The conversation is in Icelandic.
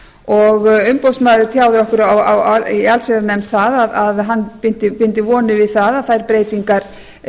og umboðsmaður tjáði okkur það í allsherjarnefnd að hann byndi vonir við það að þær breytingar